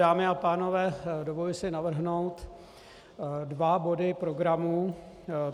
Dámy a pánové, dovoluji si navrhnout dva body programu.